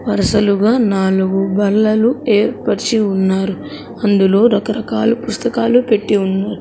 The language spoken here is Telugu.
వరుసలుగా నాలుగు బల్లలు ఏర్పరచి ఉన్నారు అందులో రకరకాల పుస్తకాలు పెట్టి ఉన్నారు.